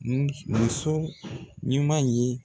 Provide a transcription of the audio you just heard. N muso in man ɲi.